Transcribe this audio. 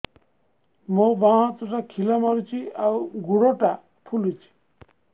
ମୋ ବାଆଁ ହାତଟା ଖିଲା ମାରୁଚି ଆଉ ଗୁଡ଼ ଟା ଫୁଲୁଚି